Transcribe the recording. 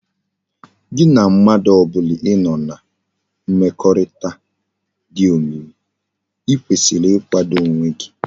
Gi na mmadu obula i no na mmekorita di omimi i kwesiri igwado onwe gi